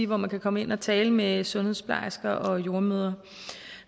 hvor man kan komme ind og tale med sundhedsplejersker og jordemødre